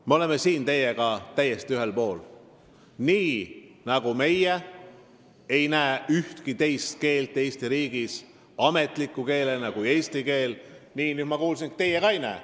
Me oleme teiega täiesti ühel poolel: nii nagu meie ei näe ühtki teist keelt Eesti riigis ametliku keelena peale eesti keele, siis nagu ma kuulsin, ei näe ka teie.